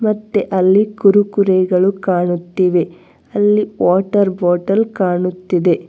ಮತ್ತೆ ಅಲ್ಲಿ ಕುರುಕುರೆ ಗಳು ಕಾಣುತ್ತಿವೆ ಅಲ್ಲಿ ವಾಟರ್ ಬಾಟಲ್ ಕಾಣುತ್ತಿದೆ.